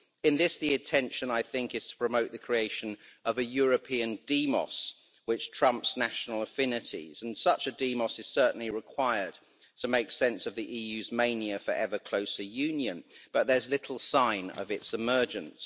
In this, the attention, I think, is to promote the creation of a European demos which trumps national affinities, and such a demos is certainly required to make sense of the EU's mania for ever closer union, but there's little sign of its emergence.